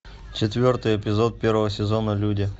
четвертый эпизод первого сезона люди